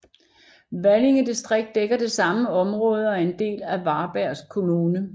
Valinge distrikt dækker det samme område og er en del af Varbergs kommun